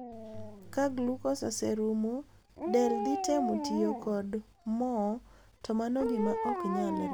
Kaglukos oserumo, del dhitemo tiyo kod mo to mano gima oknyalre.